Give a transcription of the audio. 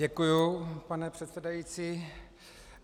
Děkuji, pane předsedající.